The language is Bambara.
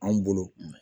An bolo